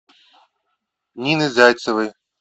нины зайцевой